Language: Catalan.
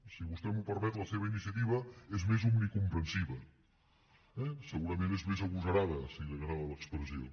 si vostè m’ho permet la seva iniciativa és més omnicomprensiva eh segurament és més agosarada si li agrada l’expressió